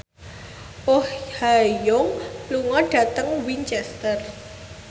Oh Ha Young lunga dhateng Winchester